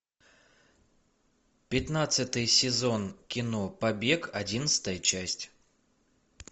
пятнадцатый сезон кино побег одиннадцатая часть